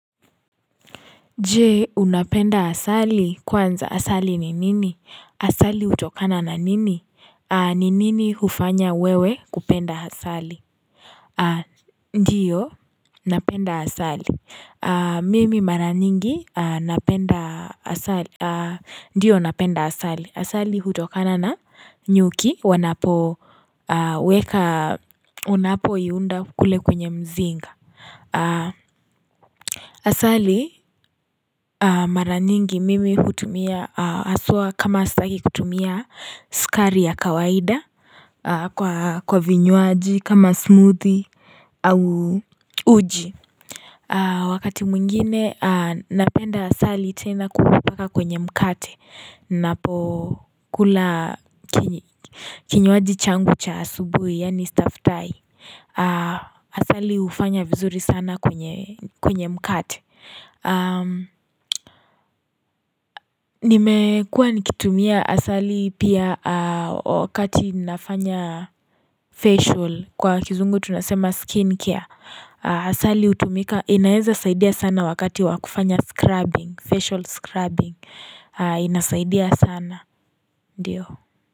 Je, unapenda asali kwanza asali ni nini asali utokana na nini ni nini hufanya wewe kupenda asali? Ndiyo napenda asali mimi mara nyingi napenda asali Ndiyo napenda asali asali utokana na nyuki wanapo weka unapo iunda kule kwenye mzinga Asali mara nyingi mimi hutumia kama astaki kutumia sukari ya kawaida kwa vinyuaji kama smoothie au uji Wakati mwingine napenda asali tena kuulapaka kwenye mkate napo kula kini Kinywaji changu cha asubuhi yaani stafutai Asali ufanya vizuri sana kwenye mkate Nimekuwa nikitumia asali pia wakati inafanya facial kwa kizungu tunasema skin care Asali utumika inaeza saidia sana wakati wakufanya scrubbing facial scrubbing inasaidia sana diyo.